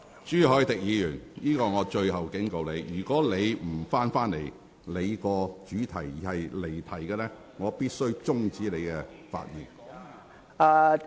朱凱廸議員，這是最後警告，如果你仍不返回有關議題，而繼續發言離題，我必須指示你停止發言。